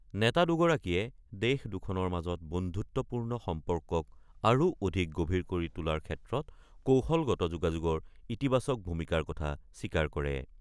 নেতা দুগৰাকীয়ে দেশ দুখনৰ মাজৰ বন্ধুত্বপূৰ্ণ সম্পৰ্কক আৰু অধিক গভীৰ কৰি তোলাৰ ক্ষেত্ৰত কৌশলগত যোগাযোগৰ ইতিবাচক ভূমিকাৰ কথা স্বীকাৰ কৰে।